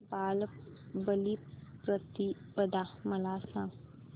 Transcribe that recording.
बलिप्रतिपदा मला सांग